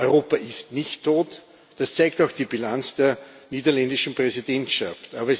Europa ist nicht tot, das zeigt auch die Bilanz der niederländischen Präsidentschaft.